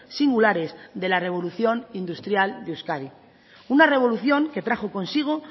singulares de la revolución industrial de euskadi una revolución que trajo consigo